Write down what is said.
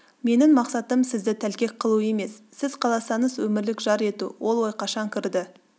менің мақсатым сізді тәлкек қылу емес сіз қаласаңыз өмірлік жар ету ол ой қашан кірді